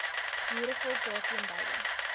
boerevolk daarteen beide